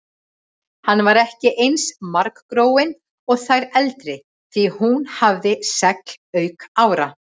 Hún var ekki eins margróin og þær eldri því hún hafði segl auk ára.